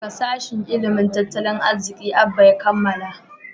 daga sashin ilimin tattalin arziki Abba ya kammala